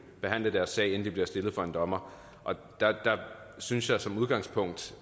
behandle deres sag inden de bliver stillet for en dommer og der synes jeg som udgangspunkt